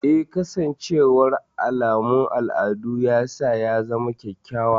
Eh, kasancewar alamun al'adu ya sa ya zama kyakkyawa.